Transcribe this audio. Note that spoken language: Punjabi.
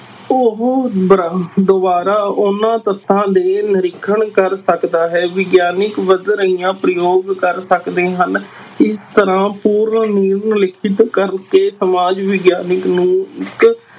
ਉਹ ਬਰ~ ਦੁਬਾਰਾ ਉਹਨਾਂ ਤੱਥਾਂ ਦੇ ਨਿਰੀਖਣ ਕਰ ਸਕਦਾ ਹੈ ਵਿਗਿਆਨਕ ਵੱਧ ਰਹੀਆਂ ਪ੍ਰਯੋਗ ਕਰ ਸਕਦੇ ਹਨ, ਇਸ ਤਰ੍ਹਾਂ ਪੂਰਨ ਰੂਪ ਕਰਕੇ ਸਮਾਜ ਵਿਗਿਆਨਕ ਨੂੰ ਇੱਕ